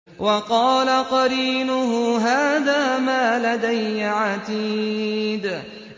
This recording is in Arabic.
وَقَالَ قَرِينُهُ هَٰذَا مَا لَدَيَّ عَتِيدٌ